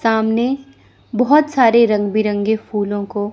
सामने बहुत सारे रंग बिरंगे फूलों को--